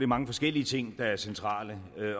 mange forskellige ting der er centrale